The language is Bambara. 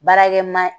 Baarakɛmaa